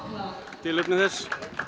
tilefni þess